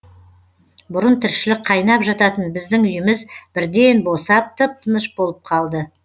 бұрын тіршілік қайнап жататын біздің үйіміз бірден босап тып тыныш болып қалды